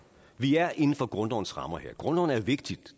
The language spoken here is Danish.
vi er inden for grundlovens rammer her grundloven er vigtig